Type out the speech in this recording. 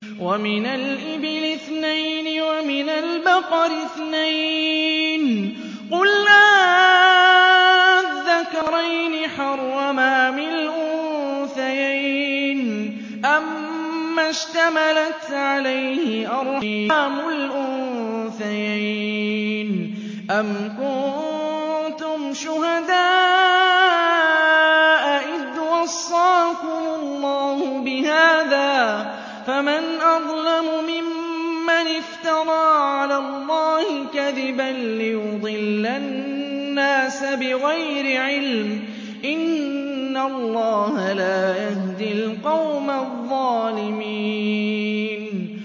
وَمِنَ الْإِبِلِ اثْنَيْنِ وَمِنَ الْبَقَرِ اثْنَيْنِ ۗ قُلْ آلذَّكَرَيْنِ حَرَّمَ أَمِ الْأُنثَيَيْنِ أَمَّا اشْتَمَلَتْ عَلَيْهِ أَرْحَامُ الْأُنثَيَيْنِ ۖ أَمْ كُنتُمْ شُهَدَاءَ إِذْ وَصَّاكُمُ اللَّهُ بِهَٰذَا ۚ فَمَنْ أَظْلَمُ مِمَّنِ افْتَرَىٰ عَلَى اللَّهِ كَذِبًا لِّيُضِلَّ النَّاسَ بِغَيْرِ عِلْمٍ ۗ إِنَّ اللَّهَ لَا يَهْدِي الْقَوْمَ الظَّالِمِينَ